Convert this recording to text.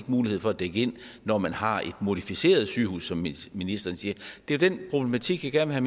mulighed for at dække ind når man har et modificeret sygehus som ministeren siger det er den problematik jeg gerne vil